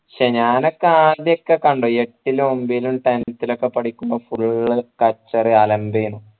ക്ഷേ ഞാനൊക്കെ ആദ്യം ക്കെ കണ്ടോ എട്ടിലും ഒമ്പതിലും tenth ഉം ഒക്കെ പഠിക്കുമ്പോ full കച്ചറ അലമ്പേനു